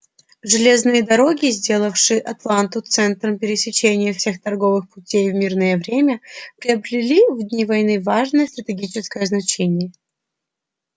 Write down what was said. железные дороги сделавшие атланту центром пересечения всех торговых путей в мирное время приобрели в дни войны важное стратегическое значение